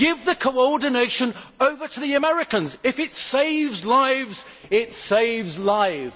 Give the coordination over to the Americans if it saves lives, it saves lives.